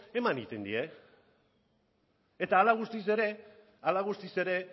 eman egiten die eta hala eta guzti ere